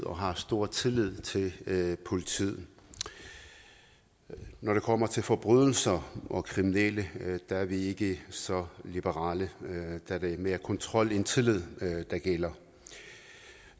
og har stor tillid til politiet når det kommer til forbrydelser og kriminelle er vi ikke så liberale da det er mere kontrol end tillid der gælder